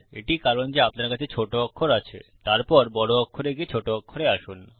এটিই কারণ যে আপনার কাছে ছোট অক্ষর আছেতারপর বড় অক্ষরে গিয়ে ছোট অক্ষরে আসুন